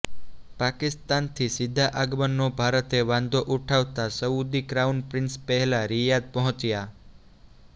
પાકિસ્તાનથી સીધા આગમનનો ભારતે વાંધો ઉઠાવતા સઉદી ક્રાઉન પ્રિન્સ પહેલા રિયાધ પહોંચ્યા